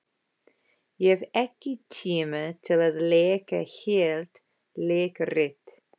Ég hef ekki tíma til að leika heilt leikrit.